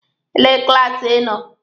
Elee klaasi Ị nọ?